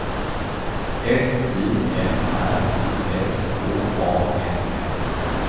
S I M R I S H A M N